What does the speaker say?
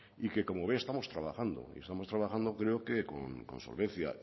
y que como ve estamos trabajando estamos trabajando creo que con solvencia